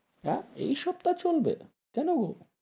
আহ এই সপ্তাহ চলবে? কেন?